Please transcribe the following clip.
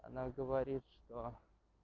она говорит что